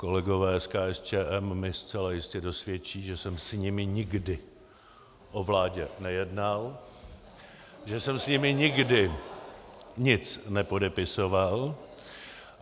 Kolegové z KSČM mi zcela jistě dosvědčí, že jsem s nimi nikdy o vládě nejednal, že jsem s nimi nikdy nic nepodepisoval.